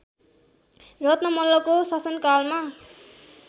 रत्न मल्लको शासनकालमा